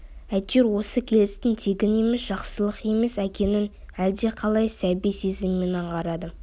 әйтеуір осы келістің тегін емес жақсылық емес екенін әлдеқалай сәби сезіммен аңғарады